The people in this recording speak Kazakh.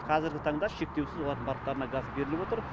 қазіргі таңда шектеусіз олардың барлықтарына газ беріліп отыр